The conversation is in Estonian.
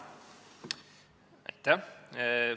Aitäh!